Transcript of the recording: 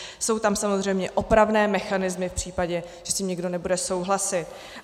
Jsou tam samozřejmě opravné mechanismy v případě, že s tím někdo nebude souhlasit.